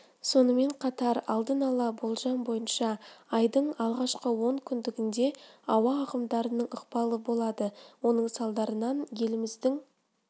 сонымен қатар алдын ала болжам бойынша айдың алғашқы он күндігінде ауа ағымдарының ықпалы болады оның салдарынан еліміздің